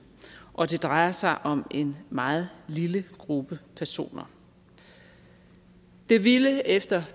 og det drejer sig om en meget lille gruppe personer det ville efter